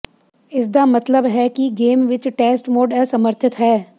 ਇਸ ਦਾ ਮਤਲਬ ਹੈ ਕਿ ਗੇਮ ਵਿੱਚ ਟੈਸਟ ਮੋਡ ਅਸਮਰਥਿਤ ਹੈ